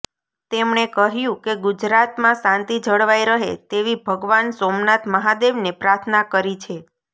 તેમણે કહ્યું કે ગુજરાતમાં શાંતિ જળવાય રહે તેવી ભગવાન સોમનાથ મહાદેવને પ્રાર્થના કરી છે